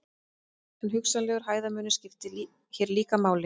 En hugsanlegur hæðarmunur skiptir hér líka máli.